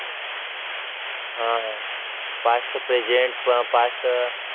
हा past present past